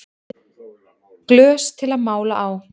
Glös til að mála á